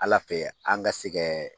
Ala fɛ yen an ka sɛ kɛ